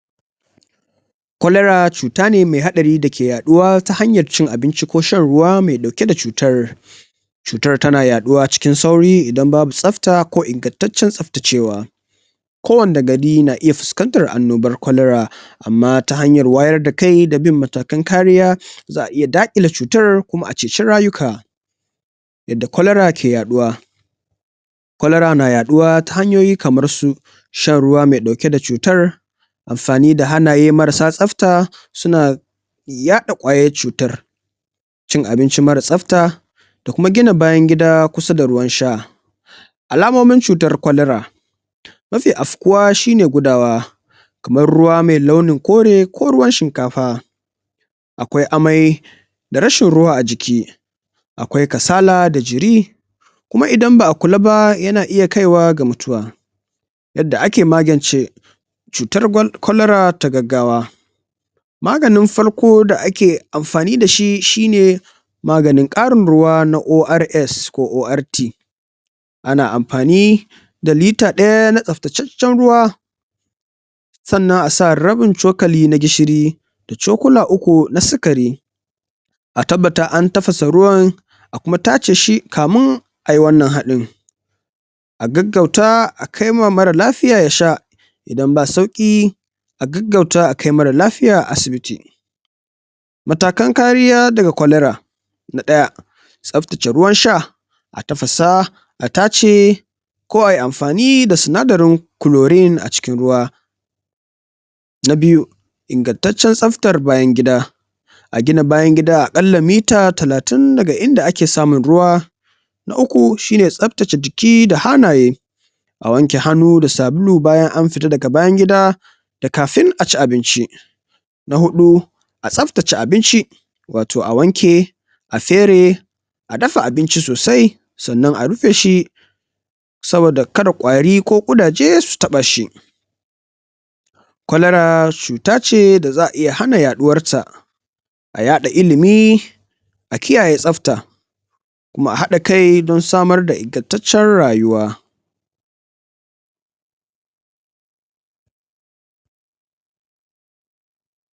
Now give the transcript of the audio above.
Cholera cuta ne me haɗari dake yaɗuwa ta hanyan cin abinci ko shan ruwa me ɗauke da cutar cutar tana yaɗuwa cikin sauri idan babu tsabta ko ingantaccen tsabtacewa ko wanne gari na iya fuskantar annobar cholera amma ta hanyar wayar da kai da bin matakan kariya za'a iya daƙile cutar kuma a ceci rayuka yadda cholera ke yaɗuwa cholera na yaɗuwa ta hanyoyi kamar su shan ruwa me ɗauke da cutar amfani da hannaye marasa tsabta suna yaɗa ƙwayar cutar cin abinci mara tsabta da kuma gina bayangida kusa da ruwan sha alamomin cutar cholera mafi afkuwa shi ne gudawa kamar ruwa me launin kore ko ruwan shinkafa akwai amai da rashin ruwa a jiki akwai kasala da jiri kuma idan ba'a kula ba yana iya kaiwa ga mutuwa yadda ake magance cutar cholera ta gaggawa maganin farko da ake amfani da shi shine maganin ƙarin ruwa na ORS ko ORT ana amfani da litre ɗaya na tsabtaceccen ruwa sannan a sa rabin cokali na gishiri da cokula uku na sigari a tabbata an tafasa ruwan a kuma tace shi kamin ai wannan haɗin a gaggauta a kai ma mara lafiya ya sha idan ba sauƙi a gaggauta a kai mara lafiya asibiti matakan kariya daga cholera na ɗaya tsabtace ruwan sha a tafasa a tace ko ai amfani da sinadarin chlorine a cikin ruwa na biyu, ingantacen tsabtar bayangida a gina bayangida aƙalla metre talatin daga inda ake samun ruwa na uku, shine tsabtace jiki da hannaye a wanke hannu da sabulu bayan an fita daga bayangida da kafin a ci abinci na huɗu, a tsabtace abinci wato a wanke a fere a dafa abinci sosai sannan a rufe shi saboda kada ƙwari ko ƙudaje su taɓa shi cholera cuta ce da za'a iya hana yaɗuwar ta a yaɗa ilimi a kiyaye tsabta kuma a haɗa kai dan samar da ingantacen rayuwa.